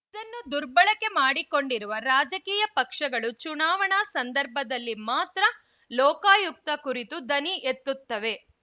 ಇದನ್ನು ದುರ್ಬಳಕೆ ಮಾಡಿಕೊಂಡಿರುವ ರಾಜಕೀಯ ಪಕ್ಷಗಳು ಚುನಾವಣಾ ಸಂದರ್ಭದಲ್ಲಿ ಮಾತ್ರ ಲೋಕಾಯುಕ್ತ ಕುರಿತು ದನಿ ಎತ್ತುತ್ತವೆ